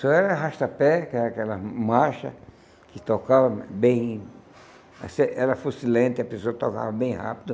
Só era arrasta-pé, que era aquela marcha que tocava bem... Era fuscilante, a pessoa que tocava bem rápido.